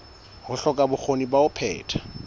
hloka bokgoni ba ho phetha